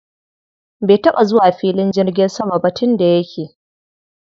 Bai taɓa zuwa filin jirgin sama ba tun da yake.